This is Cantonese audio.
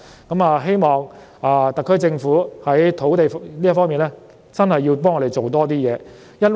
我希望特區政府在土地供應這方面，真的要為我們多做點事。